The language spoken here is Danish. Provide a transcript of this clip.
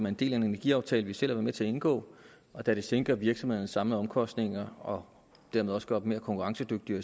en del af en energiaftale vi selv har været med til at indgå og da det sænker virksomhedernes samlede omkostninger og dermed også gør dem mere konkurrencedygtige